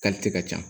ka ca